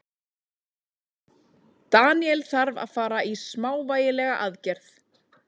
Daniel þarf að fara í smávægilega aðgerð.